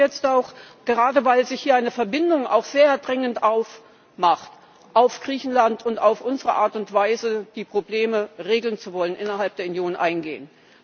Aber ich möchte jetzt auch gerade, weil sich hier eine Verbindung aufdrängt auf Griechenland und auf unsere Art und Weise, die Probleme regeln zu wollen innerhalb der Union, eingehen.